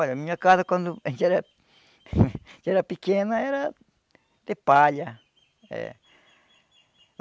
Olha, a minha casa quando a gente era era pequeno era de palha. Eh